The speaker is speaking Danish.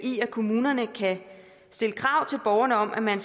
kommunerne kan stille krav til borgerne om at man